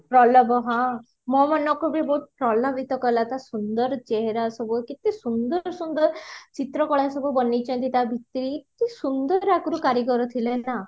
ପ୍ରଲଭ ହଁ ମୋ ମନକୁ ବି ବୋହୁତ ପ୍ରଲଭିତ କଲା ତ ସୁନ୍ଦର ଚେହେରା ସବୁ କେତେ ସୁନ୍ଦର ସୁନ୍ଦର ଚିତ୍ର କଳା ସବୁ ବନେଇଚନ୍ତି ତା ଭିତରେ କେତେ ସୁନ୍ଦର ଆଗରୁ କାରିଗର ଥିଲେ ନା